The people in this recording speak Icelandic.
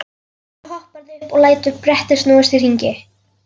Svo hopparðu upp og lætur brettið snúast í hring.